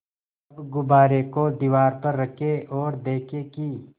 अब गुब्बारे को दीवार पर रखें ओर देखें कि